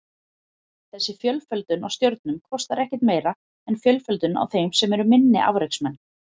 Þessi fjölföldun á stjörnum kostar ekkert meira en fjölföldun á þeim sem eru minni afreksmenn.